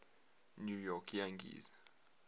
new york yankees